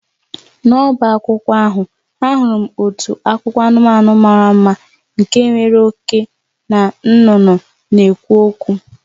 N'ọbá akwụkwọ ahụ, ahụrụ m otu akụkọ anụmanụ mara mma nke nwere oke na nnụnụ na-ekwu okwu